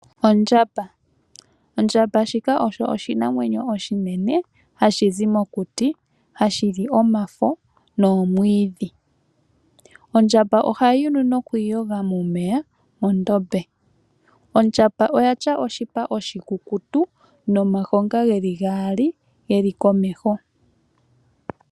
Ondjamba oyo oshinamwenyo oshinene, hashi zi mokuti , hashi li omafo noomwiidhi. Ondjamba ohayi vulu nokwiiyoga momeya mondombe. Ondjamba oya tya oshipa oshikukutu nomayinga geli gaali geli komeho.